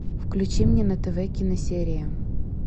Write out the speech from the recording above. включи мне на тв киносерия